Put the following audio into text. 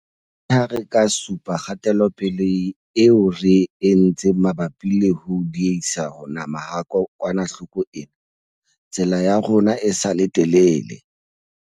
Leha re ka supa kgatelopele eo re e entseng mabapi le ho diehisa ho nama ha kokwanahloko ena, tsela ya rona e sa le telele.